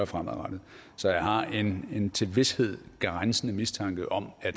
fremadrettet så jeg har en til vished grænsende mistanke om at